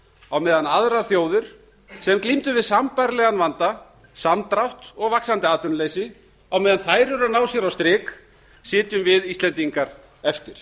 á meðan aðrar þjóðir sem glímdu við sambærilegan vanda samdrátt og vaxandi atvinnuleysi á meðan þær eru að ná sér á strik sitjum við íslendingar eftir